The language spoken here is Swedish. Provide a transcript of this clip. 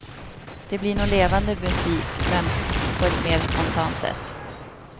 Det blir nog levande musik, men på ett mer spontant sätt.